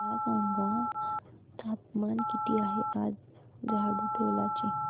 मला सांगा तापमान किती आहे आज झाडुटोला चे